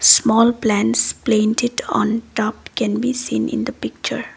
small plants plaint it on top can be seen in the picture.